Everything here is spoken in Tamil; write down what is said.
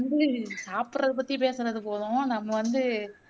வந்து சாப்புட்றது பத்தி பேசுனது போதும் நம்ம வந்து